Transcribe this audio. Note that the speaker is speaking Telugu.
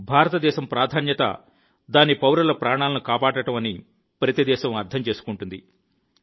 భారత దేశం ప్రాధాన్యత దాని పౌరుల ప్రాణాలను కాపాడటం అని ప్రతి దేశం అర్థం చేసుకుంటుంది